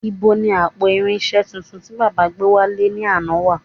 Nibo ni àpò irinṣẹ́ tuntun tí baba gbé wálé ní àná wà